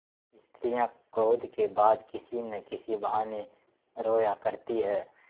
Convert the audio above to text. स्त्रियॉँ क्रोध के बाद किसी न किसी बहाने रोया करती हैं